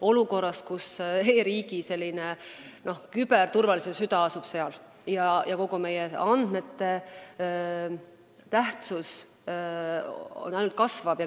Ometi asub meie e-riigi küberturvalisuse süda just seal ja küberohtude tõttu meie andmete kaitstuse tähtsus ainult kasvab.